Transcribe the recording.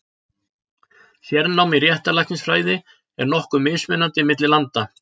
Sérnám í réttarlæknisfræði er nokkuð mismunandi milli landa.